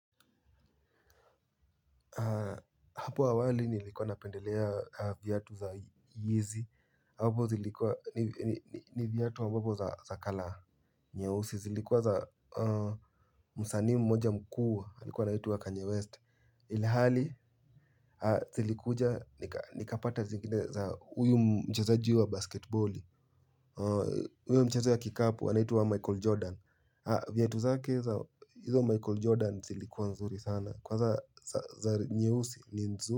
Hapo awali nilikuwa napendelea viatu za Yizi. Hapo zilikuwa ni viatu ambapo za colour nyeusi. Zilikuwa za msanii mmoja mkuu. Alikuwa anaitwa Kanye West. Ilihali zilikuja nikapata zingine za huyu mchezaji wa basketboli. Huyo mchezo ya kikapo anaitwa Michael Jordan. Viatu zake za hizo Michael Jordan zilikuwa nzuri sana. Kwanza za nyeusi ni nzu.